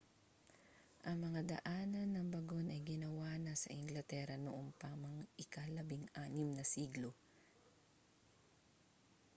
ang mga daanan ng bagon ay ginawa na sa inglatera noon pa mang ika-16 na siglo